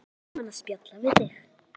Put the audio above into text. Það er svo gaman að spjalla við þig.